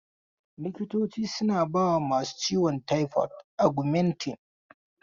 Likitoci suna bawa masu ciwon taifod Augmentin.